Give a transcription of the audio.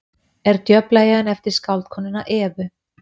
er djöflaeyjan eftir skáldkonuna evu